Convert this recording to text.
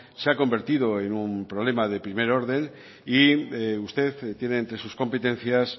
se ha convertido en un problema de primer orden y usted tiene entre sus competencias